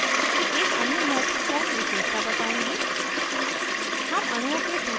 अब मैं jmol की एक अन्य महत्वपूर्ण विशेषता बताऊँगी